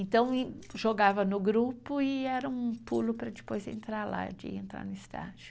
Então, jogava no grupo e era um pulo para depois entrar lá, de entrar no estágio.